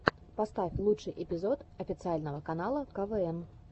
поставь лучший эпизод официального канала квн